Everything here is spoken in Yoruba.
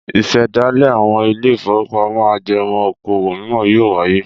Ìṣẹ̀dálẹ̀ àwọn ilé-ìfowópamọ́sí ajẹmọ́ okòwò mìíràn yóò wáyé.